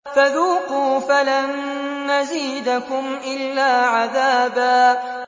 فَذُوقُوا فَلَن نَّزِيدَكُمْ إِلَّا عَذَابًا